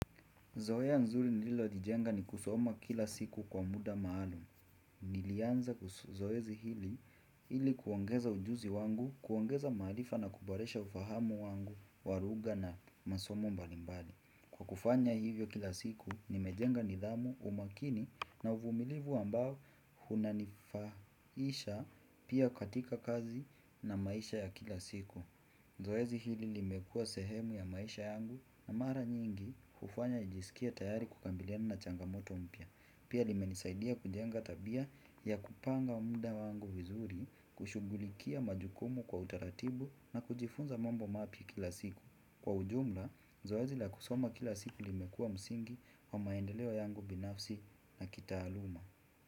Zoea nzuri nililo jijenga ni kusoma kila siku kwa muda maalum. Nilianza zoezi hili ili kuongeza ujuzi wangu, kuongeza maarifa na kuboresha ufahamu wangu, wa lugha na masomo mbalimbali. Kwa kufanya hivyo kila siku, nimejenga nidhamu umakini na uvumilivu ambao unanifaisha pia katika kazi na maisha ya kila siku. Zoezi hili limekuwa sehemu ya maisha yangu na mara nyingi hufanya nijisikie tayari kukabiliana na changamoto mpya. Pia limenisaidia kujenga tabia ya kupanga muda wangu vizuri kushughulikia majukumu kwa utaratibu na kujifunza mambo mapya kila siku. Kwa ujumla, zoezi la kusoma kila siku limekuwa msingi wa maendeleo yangu binafsi na kitaaluma.